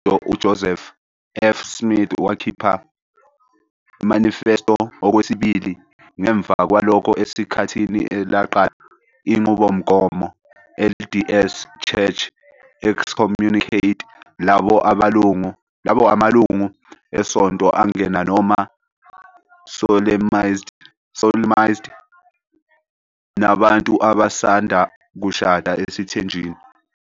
UJoseph F. Smith wakhipha " Manifesto Okwesibili ", ngemva kwalokho esikhathini elaqala Inqubomgomo LDS Church excommunicate labo amalungu esonto angena noma solemnized nabantu abasanda kushada esithenjini.